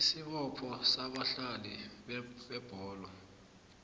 isibopho sabadlali bebholo